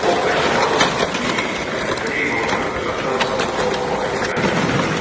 Ox və kaman iri, təhlükəli heyvanları uzaqdan asanlıqla ovlamağa imkan yaradırdı.